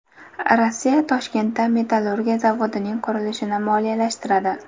Rossiya Toshkentda metallurgiya zavodining qurilishini moliyalashtiradi.